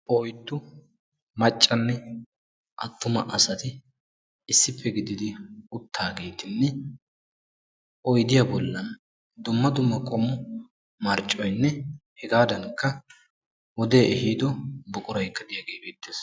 Oyddu maccanne attuma asati issippe gididi uttaagettinne oydiya bolla dumma dumma qommo marccoynne hegaadankka wodee ehiiddo buquraykka diyagee beettees.